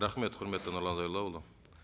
рахмет құрметті нұрлан зайроллаұлы